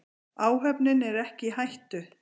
Áhöfnin er ekki í hættu.